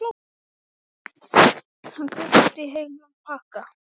Sem betur fer er ég ekki að skrifa glæpasögu.